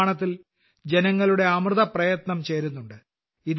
ഈ നിർമ്മാണത്തിൽ ജനങ്ങളുടെ അമൃതപ്രയത്നം ചേരുന്നുണ്ട്